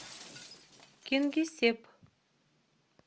кингисепп